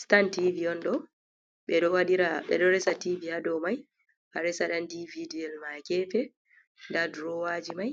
Sitan tivi on ɗo ɓe ɗo resa tivi ha dow mai ha resa dan dividi ma gefe da dorowaji mai